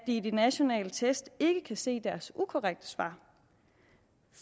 i de nationale test ikke kan se deres ukorrekte svar